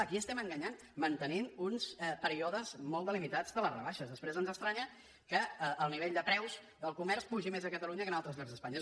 a qui estem enganyant mantenint uns períodes molt delimitats de les rebaixes després ens estranya que el nivell de preus del comerç pugi més a catalunya que en altres llocs d’espanya